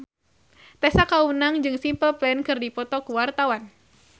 Tessa Kaunang jeung Simple Plan keur dipoto ku wartawan